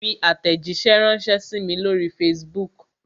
Fi àtẹ̀jíṣẹ́ ránṣẹ sí mí lóri facebook!